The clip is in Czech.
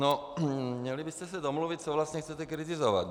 No, měli byste se domluvit, co vlastně chcete kritizovat.